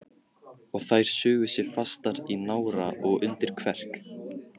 Og þær sugu sig fastar í nára og undir kverk.